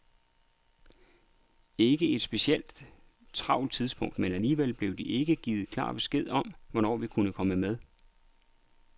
Ikke et specielt travlt tidspunkt, men alligevel blev der ikke givet klar besked om, hvornår vi kunne komme med.